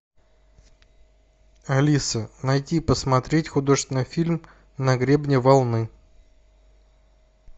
алиса найди посмотреть художественный фильм на гребне волны